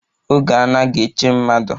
Oge anaghi eche mmadụ